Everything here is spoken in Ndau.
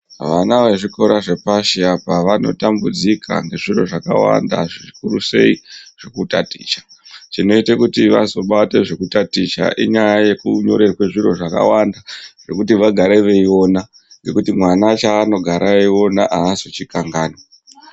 Vana vezvikora zvepashi apa vanotambudzika ngezviro zvakawanda zvikurusei zvekutaticha. Chinoite kuti vazobata zvekutaticha inyaya yekunyorerwe zviro zvakawanda zvekuti vagare veiona ngekuti mwana chaanogara eyiona aazozvikanganwi.